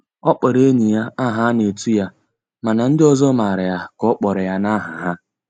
Ọ kpọrọ enyi ya aha a na-etu ya mana ndị ọzọ mara ya ka ọ kpọrọ na aha ha.